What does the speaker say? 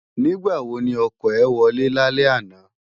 Nigbá wó ni òkò è wòlè lálè àná?